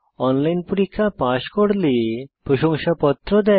online পরীক্ষা pass করলে প্রশংসাপত্র দেয়